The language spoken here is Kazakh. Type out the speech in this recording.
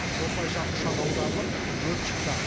осылайша ұшақ аударылып өрт шықты